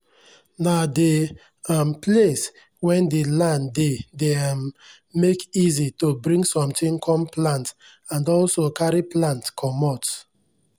nah dey um place wen the land dey dey um make easi to bring sontin com plant and also carry plant comot